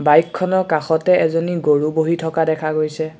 বাইকখনৰ কাষতে এজনী গৰু বহি থকা দেখা গৈছে।